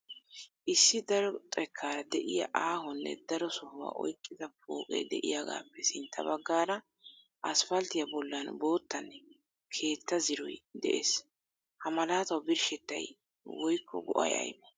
Issi daro xekkaara de"iyaa aahonne daro sohuwaa oyqqida pooqee de"iyaagaappe sintta baggaara asppalttiyaa bollan boottanne keettaa ziroy de'ees. Ha malaatawu birshettay woykko go"ay aybee?